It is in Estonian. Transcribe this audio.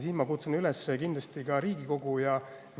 Siin ma kindlasti kutsun üles ka Riigikogu.